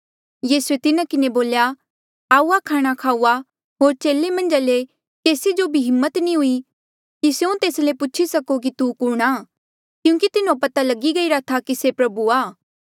यीसूए तिन्हा किन्हें बोल्या आऊआ खाणा खाऊआ होर चेले मन्झा ले केसी जो भी हिम्मत नी हुई कि स्यों तेस ले पूछी सको कि तू कुणहां क्यूंकि तिन्हो पता लगी गईरा था कि से प्रभु आ